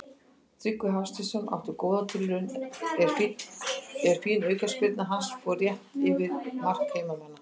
Tryggvi Hafsteinsson átti góða tilraun er fín aukaspyrna hans fór rétt yfir mark heimamanna.